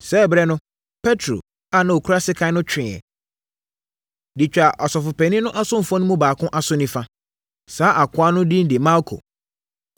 Saa ɛberɛ no, Petro a na ɔkura sekan no tweeɛ, de twaa ɔsɔfopanin no asomfoɔ no mu baako aso nifa. Saa akoa no din de Malko.